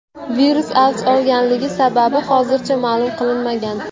Virus avj olganligi sababi hozircha ma’lum qilinmagan.